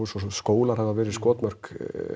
og skólar hafa verið skotmörk